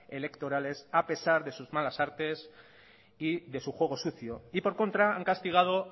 electorales a pesar de sus malas artes y de su juego sucio y por contra han castigado